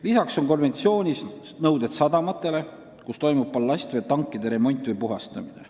Lisaks on konventsioonis nõuded sadamatele, kus toimub ballastveetankide remont või puhastamine.